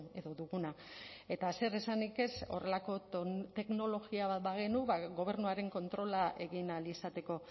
edo duguna eta zer esanik ez horrelako teknologia bat bagenu ba gobernuaren kontrola egin ahal izateko